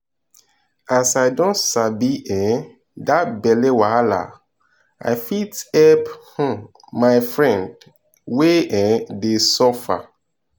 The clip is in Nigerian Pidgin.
as i don sabi um that belle wahala i fit help um my friend wey um dey suffer.